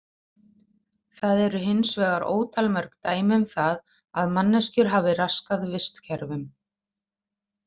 Það eru hins vegar ótal mörg dæmi um það að manneskjur hafi raskað vistkerfum.